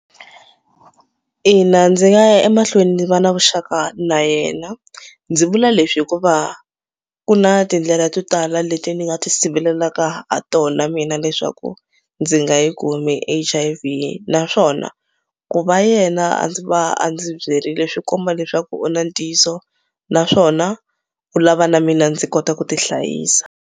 Ina ndzi nga ya emahlweni ni va na vuxaka na yena ndzi vula leswi hikuva ku na tindlela to tala leti ni nga ti siveleleka ha tona mina leswaku ndzi nga yi kumi H_I_V naswona ku va yena a ndzi va a ndzi byirile swi komba leswaku u na ntiyiso naswona u lava na mina ndzi kota ku ti hlayisa.